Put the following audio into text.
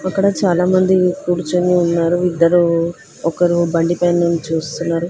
ఇక్కడ చాలా మంది కూర్చుని ఉన్నారు. ఇద్దరు ఒకరు బండి పైన నుంచి చూస్తున్నారు.